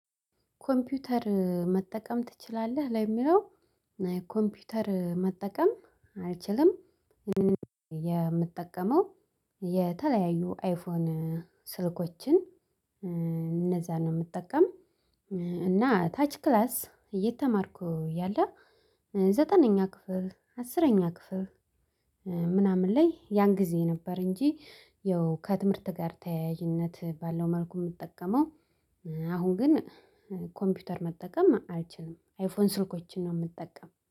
ኮምፒውተር መጠቀም ትችላለህ? ለሚለው ኮምፒውተር መጠቀም አልችልም። የምትጠቀመው የተለያዩ አይፎን ስልኮችን እነዛ ነው የምጠቀም። እና ታች ክላስ እየተማርኩ ያለ ዘጠነኛ ክፍል አስረኛ ክፍል። ምናምን ላይ ያን ጊዜ ነበር እንጂ ያው ከትምህርት ጋር ተያይዥነት ባለው መልኩ የምጠቀመው። አሁን ግን ኮምፒውተር መጠቀም አልችልም። አይፎን ስልኮችን ነው የምጠቀም